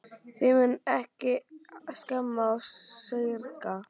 Þig munar ekki um að skemma og saurga.